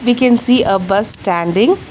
We can see a bus standing.